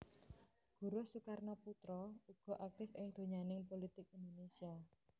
Guruh Soekarnoputra uga aktif ing donyaning pulitik Indonésia